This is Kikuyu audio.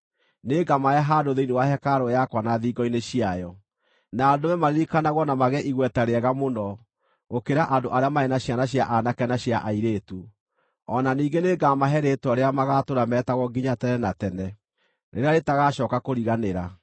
nĩngamahe handũ thĩinĩ wa hekarũ yakwa na thingo-inĩ ciayo, na ndũme maririkanagwo na magĩe igweta rĩega mũno gũkĩra andũ arĩa marĩ na ciana cia aanake na cia airĩtu; o na ningĩ nĩngamahe rĩĩtwa rĩrĩa magaatũũra meetagwo nginya tene na tene, rĩrĩa rĩtagacooka kũriganĩra.